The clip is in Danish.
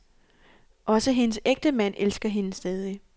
Også hendes ægtemænd elsker hende stadig.